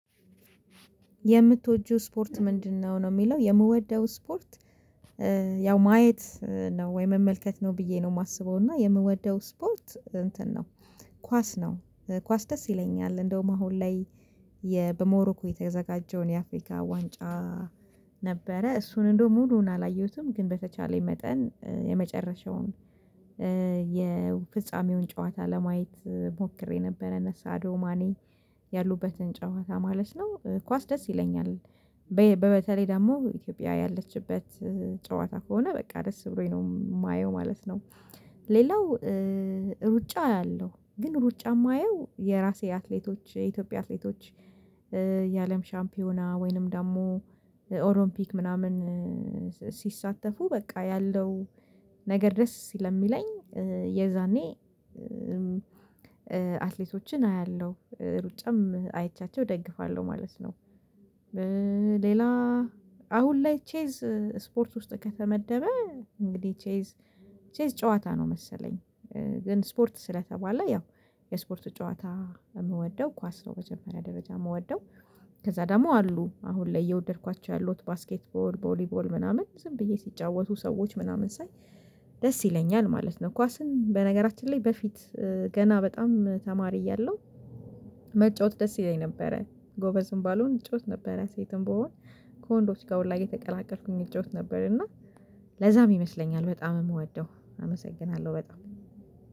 የምትወጂው ስፖርት ምንድነው ነው ነው የሚለው የምወደው ስፖርት ያው ማየት ነው ወይ መመልከት ነው ብዬ ነው የማስበው እና የምወደው ስፖት እንትን ነው ኳስ ነው ኳስ ደስ ይለኛል እንደውም አሁን ላይ በሞሮኮ የተዘጋጀውን የአፍሪካ ዋንጫ ነበረ እሱን እንደው ሙሉውን አላየሁትም ግን በተቻለኝ መጠን የመጨረሻውን የፍጻሜውን ጨዋታ ለማየት ሞክሬ ነበረ፤ ነሳ አዶማኔ ያሉበትን ጨዋታ ማለት ነው ኳስ ደስ ይለኛል በተለይ ደግሞ ኢትዮጵያ ያለችበት ጨዋታ ከሆነ በቃ ደስ ብሎኝ ነው የማየው ማለት ነው፤ ሌላው ሩጫ አያለሁ ሩጫ የማየው የራሴ አትሌቶች የኢትዮጵያ አትሌቶች የአለም ሻምፒዮና ወይንም ደግሞ ኦሎምፒክ ምናምን ሲሳተፉ በቃ ያለው ነገር ደስ ስለየሚለኝ የዛኔ አትሌቶችን አያለሁ ሩጫም አይቻቸው እደግፋለሁ ማለት ነ፤ ሌላ አሁን ላይ ቼዝ ስፖርት ውስጥ ከተመደበ እንግዲህ ቼዝ ቼዝ ጨዋታ ነው መሰለኝ ግን ስፖርት ስለተባለ ያው የስፖርት ጨዋታ የምወደው ኳስ ነው መጀመሪያ ደረጃ የምወደው፤ ከዛ ደግሞ አሉ አሁን ላይ እየወደድኳቸው ያሉት ባስኬት ቦል ቦሊ ቦል ምናምን ዝም ብዬ ሲጫወቱ ሰዎች ምናምን ሳይ ደስ ይለኛል ማለት ነው ኳስን በነገራችን ላይ በፊት ገና በጣም ተማሪ እያለሁ መጫወት ደስ ይለኝ ነበረ ጎበዝም ባልሆን መጫወት ነበር ያ ሴትም ብሆን ከወንዶች ጋር ሁላ እየተቀላቀልኩኝ እጫወት ነበር እና ለዛ ይመስለኛል በጣም የምወደው አመሰግናለሁ በጣም።